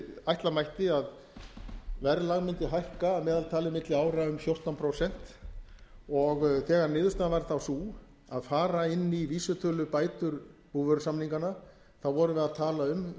ætla mætti að verðlag mundi hækka að meðaltali milli ára um fjórtán prósent þegar niðurstaðan varð þá sú að fara inn í vísitölubætur búvörusamningana vorum við að tala um